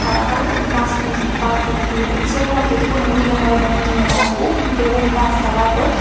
tara balukkun bach bach dineydi se moddeydi Miley morodey miliney tara hub dol nach tara duon.